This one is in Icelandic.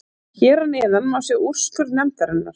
Hér að neðan má sjá úrskurð nefndarinnar.